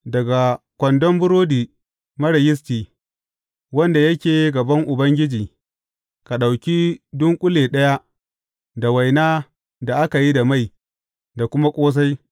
Daga kwandon burodi marar yisti, wanda yake gaban Ubangiji, ka ɗauki dunƙule ɗaya, da waina da aka yi da mai, da kuma ƙosai.